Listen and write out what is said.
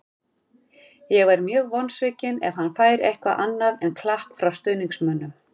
Ég verð mjög vonsvikinn ef hann fær eitthvað annað en klapp frá stuðningsmönnum.